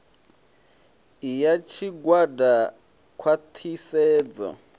i ya tshigwada khwa ṱhisedzo